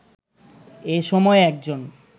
এ সময় একজন